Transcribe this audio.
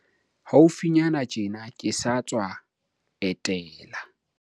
Haufinyane tjena, ke sa tswa etela